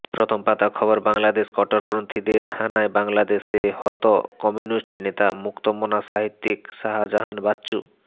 প্রথম পাতা খবর বাংলাদেশ কট্টরপন্থীদের হানায় বাংলাদেশে হত কমিউনিস্ট নেতা মুক্তমনা সাহিত্যিক শাহজাহান বাচ্চু